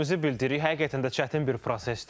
Həqiqətən də çətin bir prosesdir.